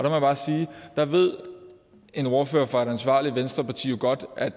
jeg bare sige at der ved en ordfører for et ansvarligt venstreparti jo godt at